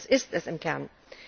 Denn das ist es im Kern!